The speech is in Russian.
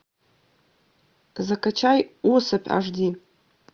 закачай особь аш ди